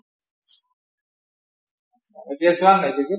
এতিয়া চোৱা বে নাই ক্ৰিকেট?